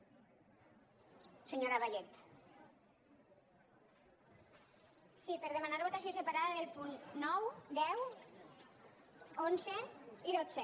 sí per demanar votació separada dels punts nou deu onze i dotze